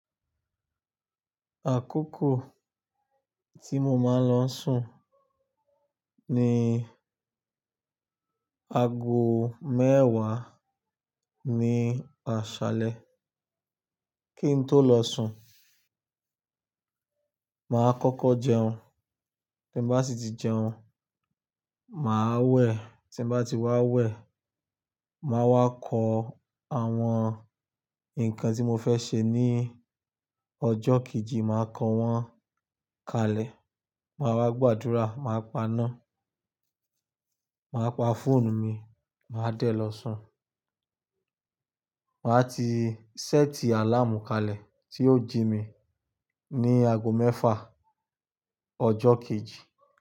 Àkókò tí mo máa ń lọ sùn ni aago mẹ́wàá ní àṣálẹ́. Kí n tó lọ sùn, màá kọ́kọ́ jẹun, tíon bá sì ti jẹun, màá wẹ̀, tí mo bá ti wá wẹ̀, màá wá kọ àwọn nǹkan tí mo fẹ́ ṣe ní ọjọ́ kejì, màá kan wọ́n kalẹ̀, màá wá gbàdúrà, màá paná, màá pa fóònù mi, màá dẹ̀ lọ sùn. Màá ti séètì àláàmù kalẹ̀ tí yóò jí mi ní aago mẹ́fà ọjọ́ kejì.